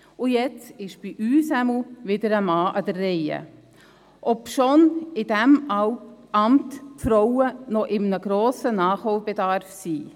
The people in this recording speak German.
Jetzt ist, jedenfalls bei uns, wieder ein Mann an der Reihe, obwohl für die Frauen in diesem Amt ein grosser Nachholbedaf besteht.